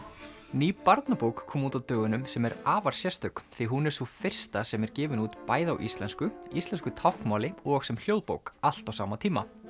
ný barnabók kom út á dögunum sem er afar sérstök því hún er sú fyrsta sem er gefin út bæði á íslensku íslensku táknmáli og sem hljóðbók allt á sama tíma